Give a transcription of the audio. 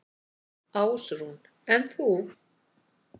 Ásrún: En þú?